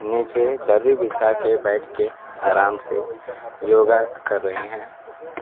नीचे दरी बिछा के बैठ के आराम से योगा कर रही हैं।